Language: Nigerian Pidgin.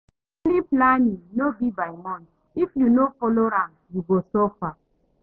Monthly planning no be by mouth, if you no follow am, you go suffer.